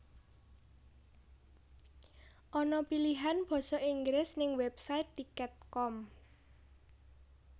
Ana pilihan boso Inggris ning website tiket com